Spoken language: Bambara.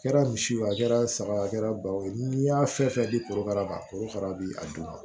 A kɛra misiw a kɛra saga ye a kɛra bawo ye n'i y'a fɛn fɛn di korokara ma kora bi a dun